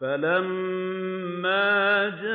فَلَمَّا جَاءَ